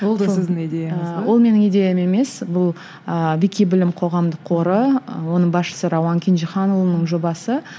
ол да сіздің идеяңыз ба ол менің идеям емес бұл ы қоғамдық қоры оның басшысы рауан кенжеханұлының жобасы